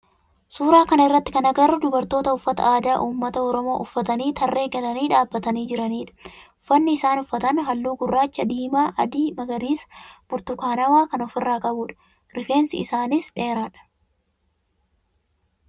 Suuraa kana irratti kan agarru dubartoota uffata aadaa ummata oromoo uffatanii tarree galanii dhaabbatanii jiranidha. Uffanni isaan uffatan halluu gurraacha, diimaa, adii, magariisa, burtukaanawaa kan of irraa qabudha. Rifeensi isaanii dheeradha.